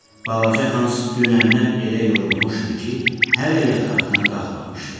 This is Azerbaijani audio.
Balaca Hans dünəndən elə yorulmuşdu ki, hələ yataqdan qalxmamışdı.